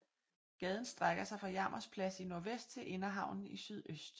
Gaden strækker sig fra Jarmers Plads i nordvest til Inderhavnen i sydøst